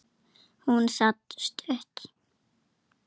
Hún sat stutt.